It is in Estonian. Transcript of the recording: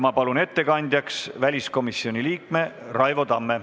Ma palun ettekandjaks väliskomisjoni liikme Raivo Tamme.